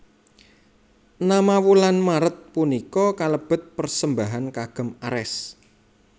Nama wulan Maret punika kalebet persembahan kagem Ares